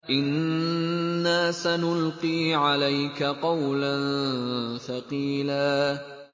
إِنَّا سَنُلْقِي عَلَيْكَ قَوْلًا ثَقِيلًا